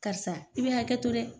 Karisa i bɛ hakɛ to dɛ